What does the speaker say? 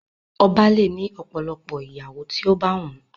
Ọba le ni ọ̀pọ̀lọpọ̀ ìyàwó ti o ba wun.